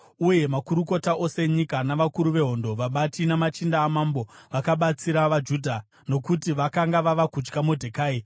Uye makurukota ose enyika, navakuru vehondo, vabati namachinda amambo vakabatsira vaJudha, nokuti vakanga vava kutya Modhekai.